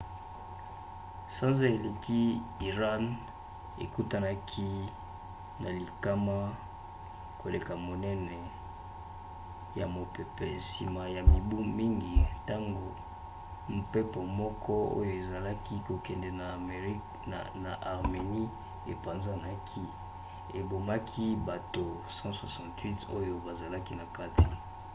sanza eleki iran ekutanaki na likama koleka monene ya mopepe nsima ya mibu mingi ntango mpepo moko oyo ezalaki kokende na armenie epanzanaki ebomaki bato 168 oyo bazalaki na kati